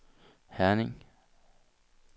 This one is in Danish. Herning